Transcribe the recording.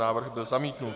Návrh byl zamítnut.